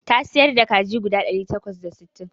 Ta siyar da kaji guda ɗari takwas da sittin